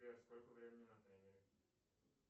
сбер сколько времени на таймере